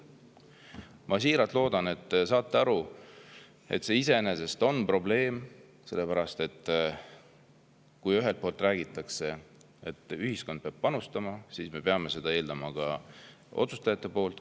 Ma siiralt loodan, et te saate aru, et see on iseenesest probleem, sellepärast et kui räägitakse, et ühiskond peab panustama, siis me peame seda eeldama ka otsustajatelt.